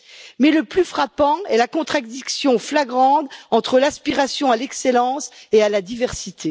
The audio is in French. Mais le plus frappant est la contradiction flagrante entre l'aspiration à l'excellence et à la diversité.